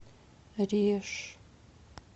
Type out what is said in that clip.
реж